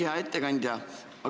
Hea ettekandja!